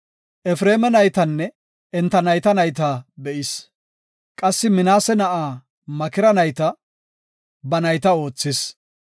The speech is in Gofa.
Efreema naytanne, enta nayta nayta be7is. Qassi Minaase na7aa Makira nayta, ba nayta oothis.